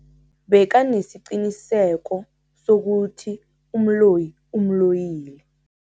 Bekanesiqiniseko sokuthi umloyi umloyile.